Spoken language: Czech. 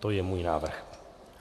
To je můj návrh.